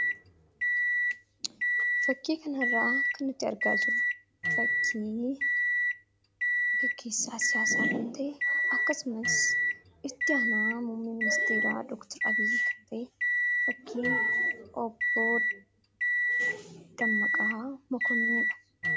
Fakkii kana irraa kan nuti argaa jirru fakkii gaggeessaa siyaasaa kan ta'e akkasumas itti aanaa muummee Dooktor Abiy kan ta'e fakkii obbo Dammaqaa Mokonninidha,